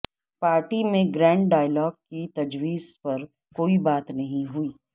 party میں grand dialogue کی تجویز پر کوئی بات نہیں ہوئی